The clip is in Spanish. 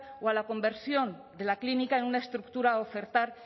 o a la conversión de la clínica en una estructura a ofertar